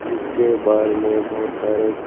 जीसके बाल में बहोत सारे--